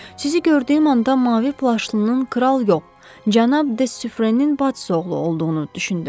Sizi gördüyüm anda mavi plaşlının kral yox, cənab de Sufferenin bacısı oğlu olduğunu düşündüm.